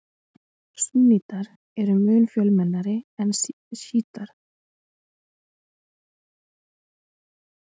Súnnítar eru mun fjölmennari en sjítar.